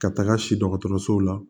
Ka taga si dɔgɔtɔrɔso la